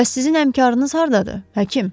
Bəs sizin həmkarınız hardadır, həkim?